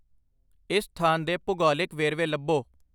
ਇਸ ਸਥਾਨ ਦੇ ਭੂਗੋਲਿਕ ਵੇਰਵੇ ਲੱਭੋ